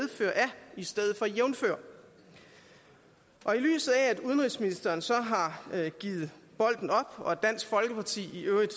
i stedet for jævnfør i lyset af at udenrigsministeren så har givet bolden op og at dansk folkeparti i øvrigt